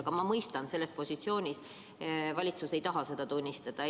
Aga ma mõistan, selles positsioonis ei taha valitsus seda tunnistada.